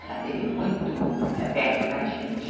Ela esteve muito perto da gente.